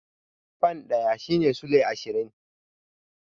Fan ɗaya shine sulai ashirin.